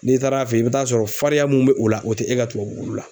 N'i taar'a fe ye i bi taa sɔrɔ farinya mun be o la o te e ka tubabu wulu la.